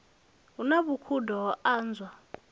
hu na vhukhudo ho anwa